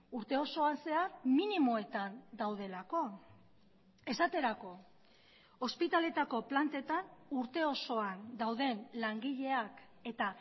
urte osoan zehar minimoetan daudelako esaterako ospitaletako plantetan urte osoan dauden langileak eta